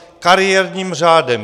Kariérním řádem.